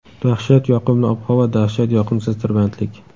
Dahshat yoqimli ob-havo va dashhat yoqimsiz tirbandlik.